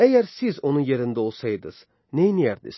Əgər siz onun yerində olsaydınız, neyləyərdiniz?